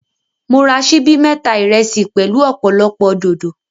Mo ra síbí mẹ́ta ìrẹsì pẹ̀lú ọ̀pọ̀lọpọ̀ dòdò.